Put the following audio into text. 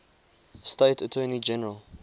state attorney general